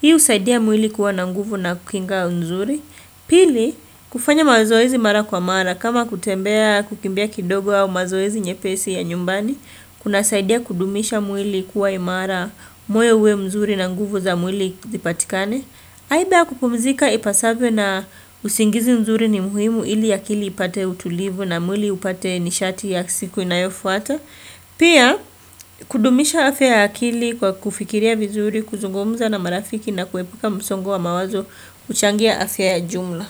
Hii husaidia mwili kuwa na nguvu na kuinga nzuri. Pili, kufanya mazoezi mara kwa mara. Kama kutembea kukimbia kidogo au mazoezi nyepesi ya nyumbani. Kunasaidia kudumisha mwili kuwa imara, moe uwe mzuri na nguvu za mwili zipatikane. Haibia kupumzika ipasabwe na usingizi nzuri ni muhimu ili akili ipate utulivu na mwili upate nishati ya siku inayofu ata. Pia kudumisha afya akili kwa kufikiria vizuri, kuzungumza na marafiki na kuepuka msongo wa mawazo kuchangia afya ya jumla.